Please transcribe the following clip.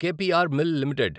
క్ P R mill limited